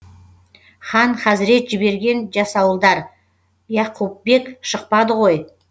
хан хазрет жіберген жасауылдар яқупбек шықпады ғой